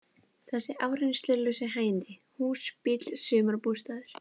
Þessi áreynslulausu hægindi: hús, bíll, sumarbústaður.